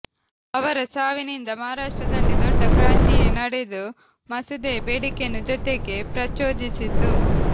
ಅವರ ಸಾವಿನಿಂದ ಮಹಾರಾಷ್ಟ್ರದಲ್ಲಿ ದೊಡ್ಡ ಕ್ರಾಂತಿಯೆ ನಡೆದು ಮಸೂದೆಯ ಬೇಡಿಕೆಯನ್ನು ಜೊತೆಗೆ ಪ್ರಚೋಧಿಸಿತು